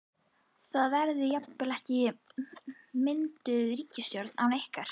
Það verði jafnvel ekki mynduð ríkisstjórn án ykkar?